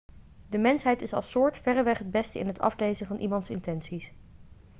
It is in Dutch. de mensheid is als soort verreweg het beste in het aflezen van iemands intenties